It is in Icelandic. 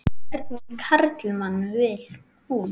En hvernig karlmann vil hún?